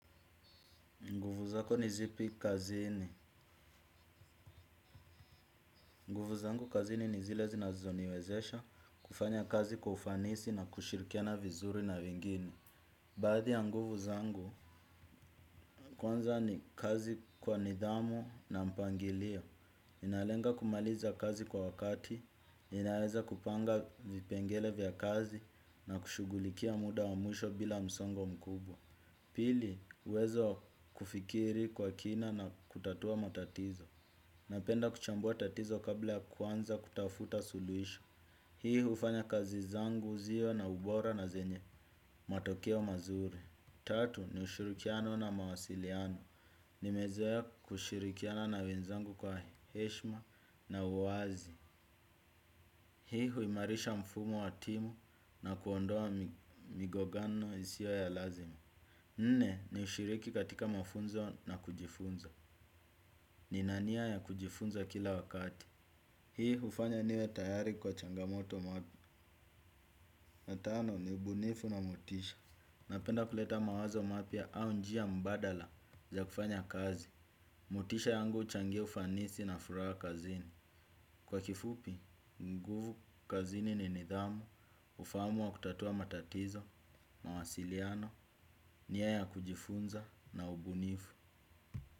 Nguvu zako nizipi kazini? Nguvu zangu kazini nizile zinazoniwezesha kufanya kazi kufanisi na kushirikiana vizuri na wengine. Baadhi ya nguvu zangu, kwanza ni kazi kwa nidhamu na mpangilio. Ninalenga kumaliza kazi kwa wakati, ninaweza kupanga vipengele vya kazi na kushughulikia muda wamwisho bila msongo mkubwa. Pili, uwezo wa kufikiri kwa kina na kutatua matatizo. Napenda kuchambua tatizo kabla ya kuanza kutafuta suluhisho. Hii hufanya kazi zangu ziwe na ubora na zenye matokeo mazuri. Tatu ni ushirikiano na mawasiliano. Nimezoea kushirikiana na wenzangu kwa heshma na uwazi. Hii huimarisha mfumo wa timu na kuondoa migongano isio ya lazima. Nne, ni ushiriki katika mafunzo na kujifunza. Nina nia ya kujifunza kila wakati. Hii hufanya niwe tayari kwa changamoto. Ya tano, ni ubunifu na motisha; Napenda kuleta mawazo mapya au njia mbadala za kufanya kazi. Motisha yangu huchangia ufanisi na furaha kazini. Kwa kifupi, nguvu kazini ni nidhamu. Ufahamu wa kutatua matatizo, mawasiliano, nia ya kujifunza na ubunifu.